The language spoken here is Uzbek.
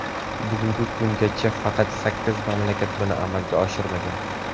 Bugungi kungacha faqat sakkiz mamlakat buni amalga oshirmagan.